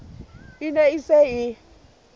e ne e se e